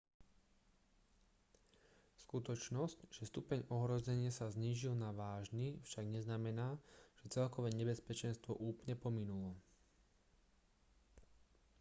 skutočnosť že stupeň ohrozenia sa znížil na vážny však neznamená že celkové nebezpečenstvo úplne pominulo